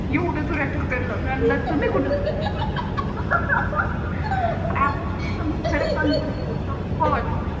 येवडया जोरात ढकल मी म्हणाल तुम्ही कुठ होत्या अग रेणुका मी खरच सांगते बर शपत